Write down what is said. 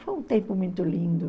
Foi um tempo muito lindo.